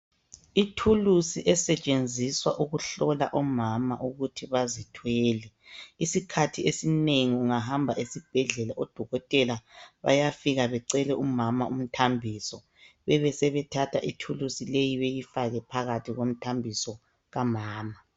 Ithulusi esetshenziswa ukuhlola omama ukuthi bazithwele isikhathi esinengi ungahamba esibhedlela odokotela bayafika becele umama umthambiso bebesebethatha ithulusi leyi beyifaka phakathi komthambiso kamama.